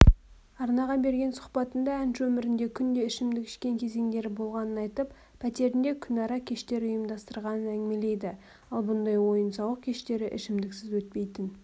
арнаға берген сұқбатында әнші өмірінде күнде ішімдік ішкен кезеңдері болғанын айтып пәтерінде күнара кештер ұйымдастырғанын әңгімелейді ал бұндай ойын-сауық кештері ішімдіксіз өтпейтін